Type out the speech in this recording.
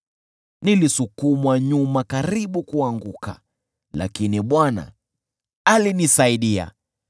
Nilisukumwa nyuma karibu kuanguka, lakini Bwana alinisaidia.